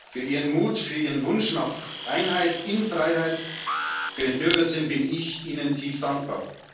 Für ihren Mut, für ihren Wunsch nach Einheit in Freiheit, für ihren Bürgersinn bin ich ihnen tief dankbar.